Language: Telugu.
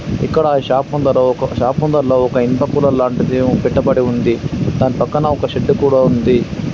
ఇక్కడ ఈ షాప్ ముందర ఒక షాప్ ముందరలో ఒక ఇనుప కూలర్ లాంటిది పెట్టబడి ఉంది. దాని పక్కన ఒక షెడ్డు కూడా ఉంది.